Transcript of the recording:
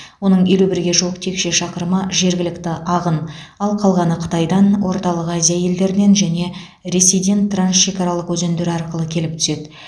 оның елу бірге жуық текше шақырымы жергілікті ағын ал қалғаны қытайдан орталық азия елдерінен және ресейден трансшекаралық өзендер арқылы келіп түседі